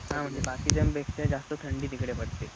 हा म्हणजे बाकीच्यां पेक्षा थंडी तिकडे जास्त पडते.